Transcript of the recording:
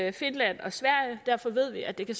i finland og sverige derfor ved vi at det